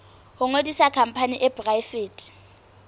ho ngodisa khampani e poraefete